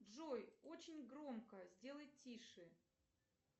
джой очень громко сделай тише